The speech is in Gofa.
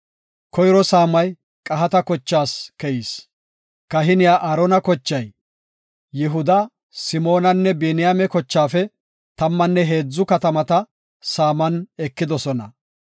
Koyro saamay Qahaata kochaas keyis. Kahiniya Aarona kochay, Yihuda, Simoonanne Biniyaame kochaafe tammanne heedzu katamata saaman ekidosona.